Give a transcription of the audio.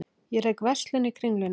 Ég rek verslun í Kringlunni.